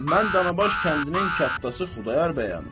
Mən Danabaş kəndinin kəttası Xudayar bəyəm.